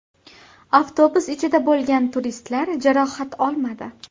Avtobus ichida bo‘lgan turistlar jarohat olmadi.